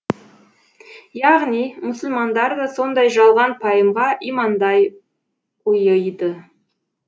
яғни мұсылмандар да сондай жалған пайымға имандай ұйыйды